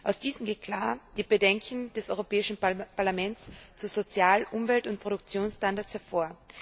Aus diesem gehen klar die Bedenken des Europäischen Parlaments zu Sozial Umwelt und Produktionsstandards hervor.